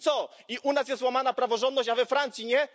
I co, i u nas jest łamana praworządność, a we Francji nie?